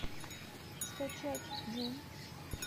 скачать джум